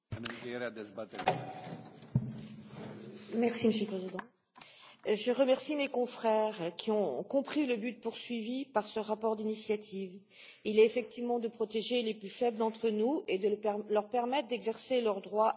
Monsieur le Président, je remercie mes confrères qui ont compris le but poursuivi par ce rapport d'initiative qui est effectivement de protéger les plus faibles d'entre nous et de leur permettre d'exercer leurs droits au même titre que tous les citoyens européens.